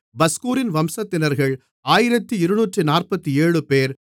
பஸ்கூரின் வம்சத்தினர்கள் 1247 பேர்